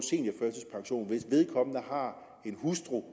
vedkommende har en hustru